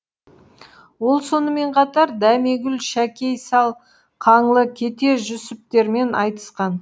ол сонымен қатар дәмегүл шәкей сал қаңлы кете жүсіптермен айтысқан